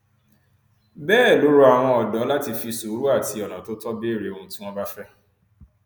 bẹẹ ló rọ àwọn ọdọ láti fi sùúrù àti ọnà tó tọ béèrè ohun tí wọn bá fẹ